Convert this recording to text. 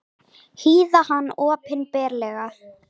Hýða hann opinberlega!